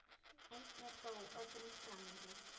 Einn er þó öðrum fremri.